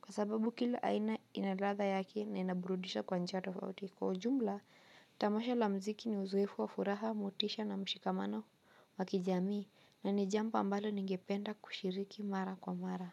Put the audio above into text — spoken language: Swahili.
kwa sababu kila aina ina ladha yake na inaburudisha kwa njia tofauti kwa ujumla tamasha la mziki ni uzoefu wa furaha motisha na mshikamano wa kijamii na ni jambo ambalo ningependa kushiriki mara kwa mara.